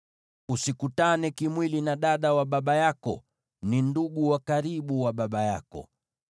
“ ‘Usikutane kimwili na dada wa baba yako; ni ndugu wa karibu wa baba yako.